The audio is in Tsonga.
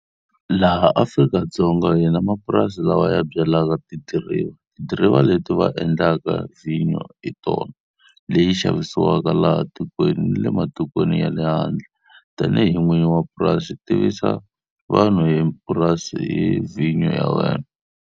Laha Afrika-Dzonga hi na mapurasi lawa ya byalaka tidiriva. Tidiriva leti va endlaka vhinyo hi tona, leyi xavisiwaka laha tikweni ni le matikweni ya le handle. Tanihi n'winyi wa purasi, tivisa vanhu hi purasi ni vhinyo ya wena.